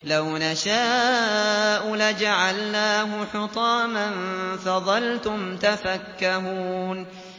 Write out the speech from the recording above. لَوْ نَشَاءُ لَجَعَلْنَاهُ حُطَامًا فَظَلْتُمْ تَفَكَّهُونَ